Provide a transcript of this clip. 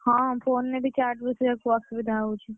ହଁ phone ରେ ବି charge ବସେଇବାକୁ ଅସୁବିଧା ହଉଛି।